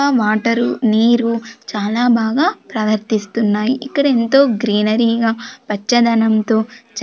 Water నీరు చాలా బాగా ప్రవర్తిస్తున్నాయి ఇక్కడ ఎంతో గ్రీనరీగా పచ్చదనంతో.